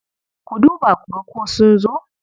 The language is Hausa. Ku duba ku ga ko sun zo.